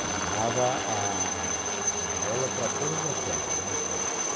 Ela dava a a aula para todas as séries, né, para